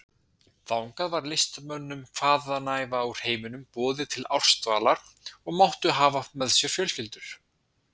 Þangað var listamönnum hvaðanæva úr heiminum boðið til ársdvalar og máttu hafa með sér fjölskyldur.